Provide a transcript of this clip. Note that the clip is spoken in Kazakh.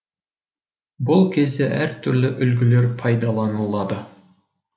бұл кезде әр түрлі үлгілер пайдаланылады